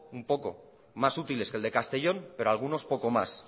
un poco más útiles que el de castellón pero algunos poco más